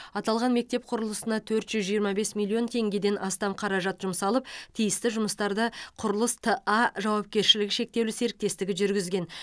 аталған мектеп құрылысына төрт жүз жиырма бес миллион теңгеден астам қаражат жұмсалып тиісті жұмыстарды құрылыс т а жауапкершілігі шектеулі серіктестігі жүргізген